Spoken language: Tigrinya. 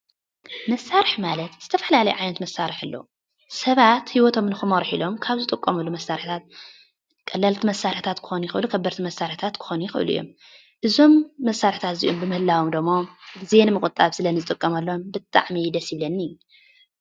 መሳርሒ ማለት ዝተፈላለየ ዓይነት መሳርሒ አሎ፡፡ ሰባት ሂወቶም ንክመርሑ ኢሎም ካብ ዝጥቀምሉ መሳርሒታት ቀለልቲ መሳርሒታት ክኮኑ ይክእሉ፡፡ ከበድቲ መሳርሒታት ክኮኑ ይክእሉ እዮም፡፡ እዞም መሳርሒታት እዚኦም ብምህላዎም ደሞ ግዜ ንምቁጣብ ስለንጥቀመሎም ብጣዕሚ እዩ ደስ ዝብለኒ፡፡